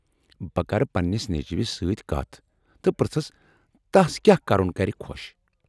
بہٕ کرٕ پنٛنس نیٚچوِس سۭتۍ کتھ تہٕ پرٛژھس تس كیاہ كرُن كرِ خو٘ش ۔